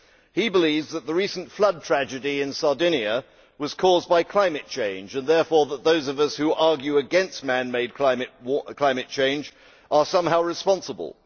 He believes that the recent flood tragedy in Sardinia was caused by climate change and that those of us who argue against manmade climate change are, therefore, somehow responsible.